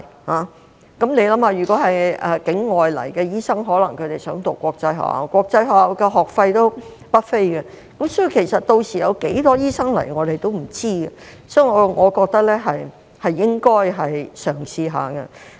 大家想一想，如果是境外來港的醫生，他們可能希望子女入讀國際學校，但國際學校的學費不菲，屆時有多少醫生前來，我們也不知道，所以我覺得是應該嘗試一下的。